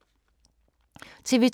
TV 2